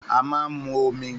Àmá ń mú òmí.